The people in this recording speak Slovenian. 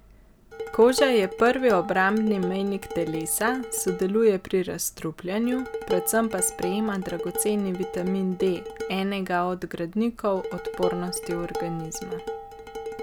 Koža je prvi obrambni mejnik telesa, sodeluje pri razstrupljanju, predvsem pa sprejema dragoceni vitamin D, enega od gradnikov odpornosti organizma.